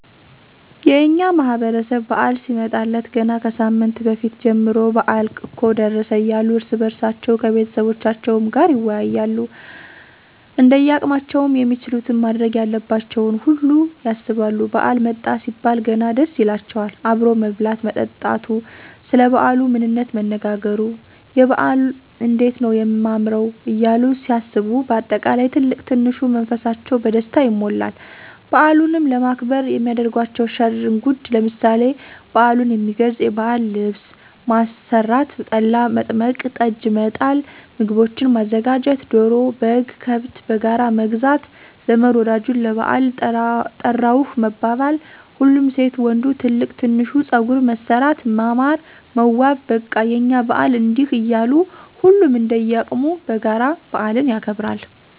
የእኛ ማህበረሰብ በዓል ሲመጣለት ገና ከሳምንት በፊት ጀምሮ በአል እኮ ደረሰ እያሉ እርስ በእርሳቸዉ ከቤተሰቦቻቸዉም ጋር ይወያያሉ እንደያቅማቸዉም የሚችሉትን ማድረግ ያለባቸውን ሁሉ ያሰባሉ ባዓል መጣ ሲባል ገና ደስ ይላቸዋል አብሮ መብላት መጠጣቱ፣ ሰለ ባዓሉ ምንነት መነጋገሩ፣ የበዓል እንዴት ነዉ የማምረዉ እያሉ ሲያስቡ በአጠቃላይ ትልቅ ትንሹ መንፈሳቸዉ በደስታ ይሞላል። በዓሉንም ለማክበር የሚያደርጓቸዉ ሽር እንጉድ ለምሳሌ፦ በዓሉን የሚገልፅ የባዕል ልብስ ማሰራት፣ ጠላ፣ መጥመቅ፣ ጠጅ፣ መጣል፣ ምግቦችን ማዘጋጀት፣ ዶሮ፣ በግ፣ ከብት በጋራ መግዛት ዘመድ ወዳጁን ለባዕል ጠራሁህ መባባል፣ ሁሉም ሴት ወንዱ ትልቅ ትንሹ ፀጉር መሠራት ማማር መዋብ በቃ የእኛ በዓል እንዲህ እያሉ ሁሉም እንደየቅሙ በጋራ በአልን ያከብራል።